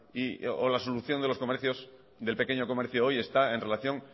o la solución de los comercios del pequeño comercio hoy está en relación